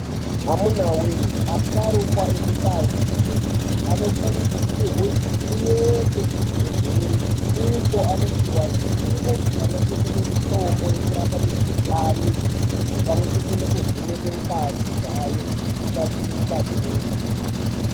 Amunawee asharukwa emundau dzedu anokurudzirwa kuende kuzvibhehlera uko keavanopihwa zivo pamwe chete nemitombo yekurapa mukhuhlani nekurapa nepamwechete nekuvheneka ngazi dzawo dzisapinda utachiona.